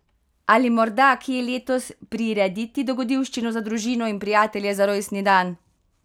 Ali morda kje letos prirediti dogodivščino za družino in prijatelje za rojstni dan?